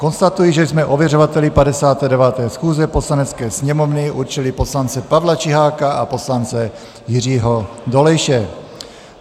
Konstatuji, že jsme ověřovateli 59. schůze Poslanecké sněmovny určili poslance Pavla Čiháka a poslance Jiřího Dolejše.